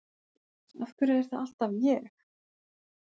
Af hverju er það alltaf ég?